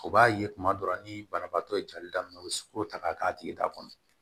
O b'a ye kuma dɔ la ni banabaatɔ ye jali daminɛ u bɛ sukoro ta k'a k'a tigi ta kɔnɔ